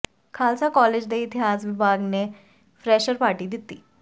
Khalsa college ਦੇ ਇਤਿਹਾਸ ਵਿਭਾਗ ਨੇ ਫਰੈੱਸ਼ਰ ਪਾਰਟੀ ਦਿੱਤੀ